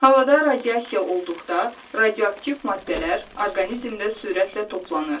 Havada radiasiya olduqda, radioaktiv maddələr orqanizmdə sürətlə toplanır.